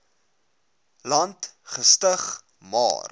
land gestig maar